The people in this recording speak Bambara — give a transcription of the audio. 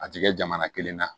A ti kɛ jamana kelen na